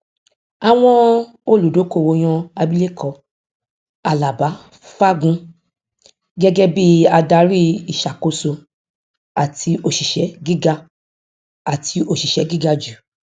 àwọn olùdókówó yan abileko alábá fagun gẹgẹ bí adárí ìṣàkóso àti oṣìṣẹ gíga àti oṣìṣẹ gíga jù